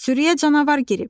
Sürüyə canavar girib!